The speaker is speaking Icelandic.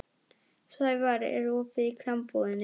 Sævarr, er opið í Krambúðinni?